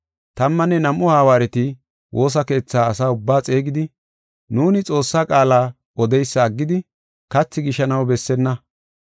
Tammanne nam7u hawaareti woosa keetha asa ubbaa xeegidi, “Nuuni Xoossaa qaala odeysa aggidi kathi gishanaw bessenna.